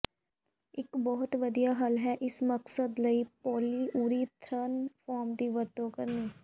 ਇੱਕ ਬਹੁਤ ਵਧੀਆ ਹੱਲ ਹੈ ਇਸ ਮਕਸਦ ਲਈ ਪੋਲੀਉਰੀਥਰਨ ਫੋਮ ਦੀ ਵਰਤੋਂ ਕਰਨੀ